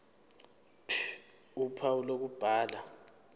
ph uphawu lokubhala